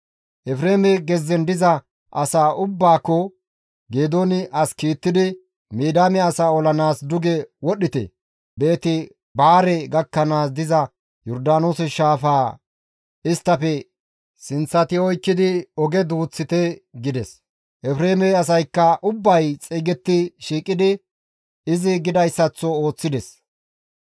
Efreeme gezzen diza asaa ubbaakko Geedooni as kiittidi, «Midiyaame asaa olanaas duge wodhdhite; Beeti-Baare gakkanaas diza Yordaanoose shaafaa isttafe sinththati oykkidi oge duuththite» gides. Efreeme asaykka ubbay xeygetti shiiqidi izi gidayssaththo ooththides.